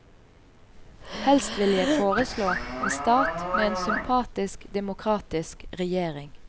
Helst ville jeg foreslå en stat med en sympatisk demokratisk regjering.